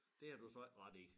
Det har du så ikke ret i